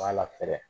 B'a la fɛɛrɛ